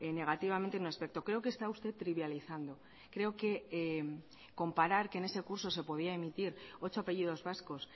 negativamente en un aspecto creo que está usted trivializando creo que comparar que en ese curso se podía emitir ocho apellidos vascos